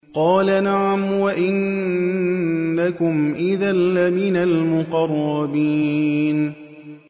قَالَ نَعَمْ وَإِنَّكُمْ إِذًا لَّمِنَ الْمُقَرَّبِينَ